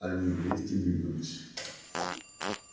они вместе двинулись